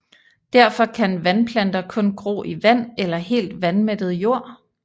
Derfor kan vandplanter kun gro i vand eller helt vandmættet jord